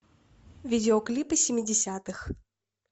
видеоклипы семидесятых